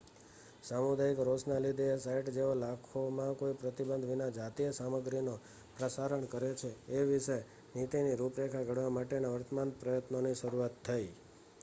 સામુદાયિક રોષના લીધે એ સાઇટ જેઓ લાખોંમાં કોઈ પ્રતિબંધ વિના જાતીય સામગ્રીનો પ્રસારણ કરે છે એ વિષે નીતિની રૂપરેખા ઘડવા માટેના વર્તમાન પ્રયત્નોની શુરુઆત થઇ